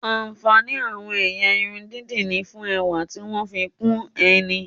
Ààǹfàní àwọn ẹ̀yà irun dídì ni fún ẹwà tí wọ́n ń fi kún ẹni